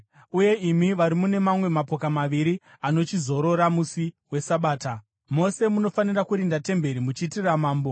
uye imi vari mune mamwe mapoka maviri anochizorora musi weSabata, mose munofanira kurinda temberi muchiitira mambo.